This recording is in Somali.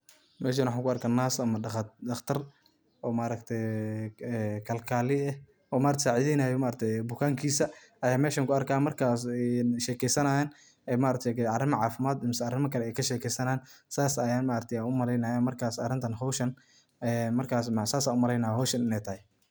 Meshan waxan kuarka nurse ama daqtaar oo kalkale eh oo sacidheynay bukankiisa ayan meshaan kuarka oo markas shekeysanayan arima cafimat iyo arima kale kashekeysanayan saaas an umaleynaya howshan inay tahay.